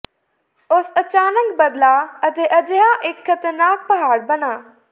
ਉਸ ਅਚਾਨਕ ਬਦਲਾਅ ਅਤੇ ਅਜਿਹੇ ਇੱਕ ਖਤਰਨਾਕ ਪਹਾੜ ਬਣਾ